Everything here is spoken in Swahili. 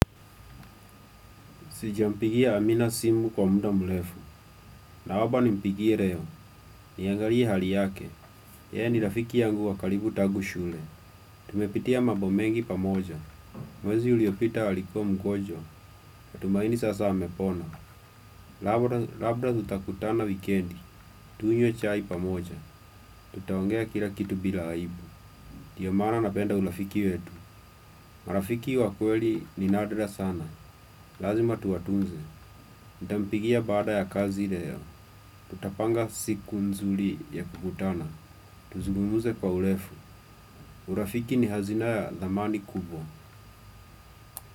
Sijampigia Amina simu kwa muda mrefu. Naomba nimpigie leo. Niangalie hali yake. Ye ni rafiki yangu wa karibu tangu shule. Tumepitia mambo mengi pamoja. Mwezi uliopita alikuwa mgonjwa. Matumaini sasa amepona. Labda tutakutana wikendi. Tunywe chai pamoja. Tutaongea kila kitu bila aibu. Ndiyo maana napenda urafiki wetu. Marafiki wakweli ni nadra sana. Lazima tuwatunze. Nitampigia baada ya kazi leo. Tutapanga siku nzuri ya kukutana. Tuzungumze kwa urefu. Urafiki ni hazina ya thamani kubwa.